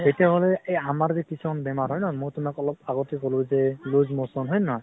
তেতিয়া হলে এই আমাৰ যে কিছুমান বেমাৰ হয় ন, মই তোমাক অলপ আগতে কলো যে loose motion হয় নে নহয়?